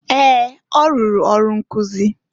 Ee! Ọ rụrụ ọrụ nkụzị.